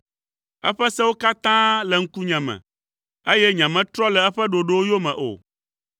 Eƒe sewo katã le ŋkunye me; eye nyemetrɔ le eƒe ɖoɖowo yome o.